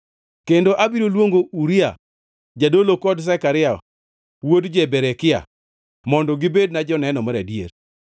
Kendo abiro luongo Uria jadolo kod Zekaria wuod Jeberekia mondo gibedna joneno mar adier.